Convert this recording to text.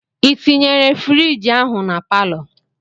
I tinyere frigi ahụ na palọ?